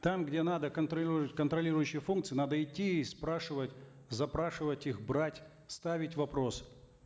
там где надо контролирующие функции надо идти и спрашивать запрашивать их брать ставить вопрос